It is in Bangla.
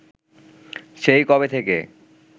সেই কবে থেকে